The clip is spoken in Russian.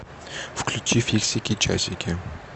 включи фиксики часики